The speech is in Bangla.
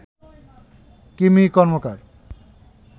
কিমি কর্মকার